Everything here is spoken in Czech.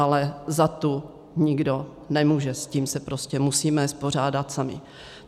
Ale za tu nikdo nemůže, s tím se prostě musíme vypořádat sami.